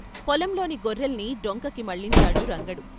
పొలంలోని గొర్రెల్ని డొంకకి మళ్ళించాడు రంగడు.